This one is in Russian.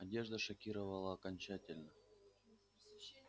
одежда шокировала окончательно